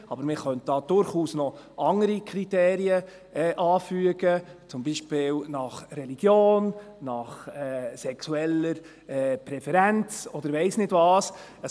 Aber man könnte durchaus noch andere Kriterien anfügen, beispielsweise nach Religion, nach sexueller Präferenz, oder ich weiss nicht, wonach noch.